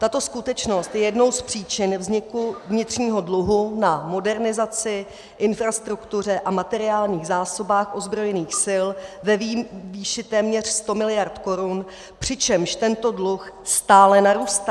Tato skutečnost je jednou z příčin vzniku vnitřního dluhu na modernizaci, infrastruktuře a materiálních zásobách ozbrojených sil ve výši téměř 100 mld. korun, přičemž tento dluh stále narůstá.